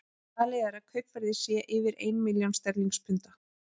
Talið er að kaupverðið sé yfir ein milljón sterlingspunda.